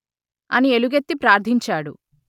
అని ఎలుగెత్తి ప్రార్థించాడు